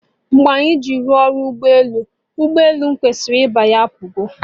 Mgbe anyị ji ruo ụlọ ụgbọ elu, ụgbọ elu m kwesịrị ịbanye apụgo